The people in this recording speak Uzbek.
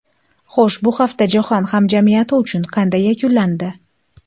Xo‘sh, bu hafta jahon hamjamiyati uchun qanday yakunlandi?